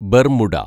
Bermuda